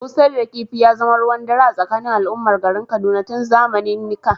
Busar da kifi ya zama ruwan dare a tsakanin al’ummar garin Kaduna tun zamanennika.